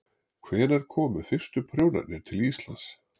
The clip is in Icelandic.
Hvenær komu fyrstu prjónarnir til Íslands?